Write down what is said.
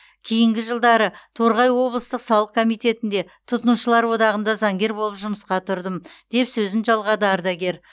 кейінгі жылдары торғай облыстық салық комитетінде тұтынушылар одағында заңгер болып жұмысқа тұрдым деп сөзін жалғады ардагер